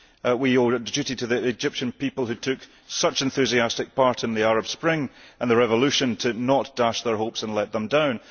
We have a duty to the Egyptian people, who took such enthusiastic part in the Arab Spring and the revolution, not to dash their hopes and let them down.